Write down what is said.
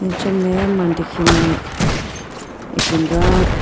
acha meya mandikhi mai ipindoya.